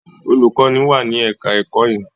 olùkọ́ní wà ní ẹ̀ka-ẹ̀kọ́ yẹn.